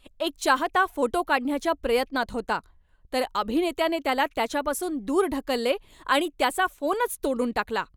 एक चाहता फोटो काढण्याच्या प्रयत्नात होता, तर अभिनेत्याने त्याला त्याच्यापासून दूर ढकलले आणि त्याचा फोनच तोडून टाकला.